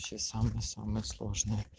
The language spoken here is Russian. самый самый сложный